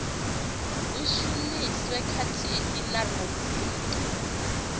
hu shumiswe khathihi na rubriki